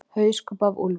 Hauskúpa af úlfi.